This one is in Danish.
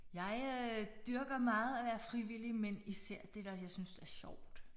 Jeg øh dyrker meget at være frivillig men især det der jeg synes der er sjovt